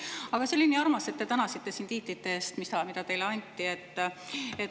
Aga see oli nii armas, et te tänasite siin tiitlite eest, mis teile anti.